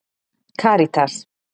Karítas